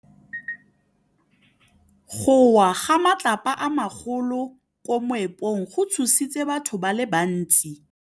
Go wa ga matlapa a magolo ko moepong go tshositse batho ba le bantsi.